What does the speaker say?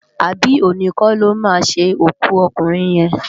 Abi óni kò lò má sin ókú òkúnrin yén?